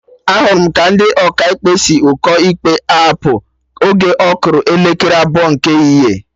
Ahụrụ m ka ndị Ọkaikpe si ụkọ ikpe apụ oge ọ kụrụ elekere abụọ nke ehihie